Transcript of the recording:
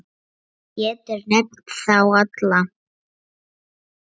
Hver getur nefnt þá alla?